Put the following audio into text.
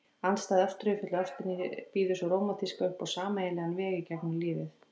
Andstætt ástríðufullu ástinni býður sú rómantíska upp á sameiginlegan veg í gegnum lífið.